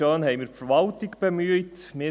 Schön, dass wir die Verwaltung bemüht haben.